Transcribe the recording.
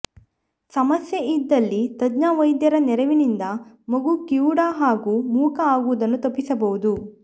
ಸಮಸ್ಯೆ ಇದ್ದಲ್ಲಿ ತಜ್ಞ ವೈದ್ಯರ ನೆರವಿನಿಂದ ಮಗು ಕಿವುಡ ಹಾಗೂ ಮೂಕ ಆಗುವುದನ್ನು ತಪ್ಪಿಸಬಹುದು